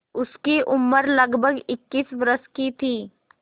उसकी उम्र लगभग इक्कीस वर्ष की थी